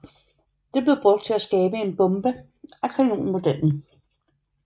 Det blev brugt til at skabe en en bombe af kanonmodellen